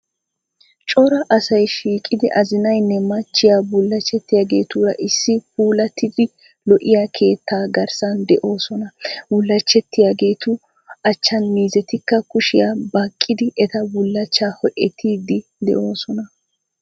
Cora asay shiiqidi azinaynne machchiyaa bulachetiyaageetura issi puulattidi lo"iyaa keetta garssan doosona. bullachchetiyageetu achchin miizetika kushiya baqqidi eta bullachchaa ho"etiidi doosona.